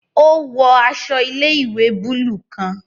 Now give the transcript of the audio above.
O wọ aṣọ ilé-ìwé buluu kàn.